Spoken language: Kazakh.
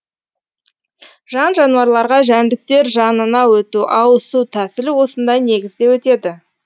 жан жануарларға жәндіктер жанына өту ауысу тәсілі осындай негізде өтеді